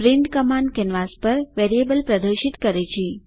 print command canvas પર variable પ્રદર્શિત કરે છે